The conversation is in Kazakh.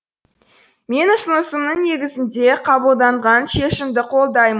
менің ұсынысымның негізінде қабылданған шешімді қолдайм